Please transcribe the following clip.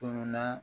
Tununa